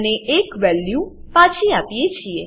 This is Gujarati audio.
અને એક વેલ્યુ વેલ્યુ પાછી આપીએ છીએ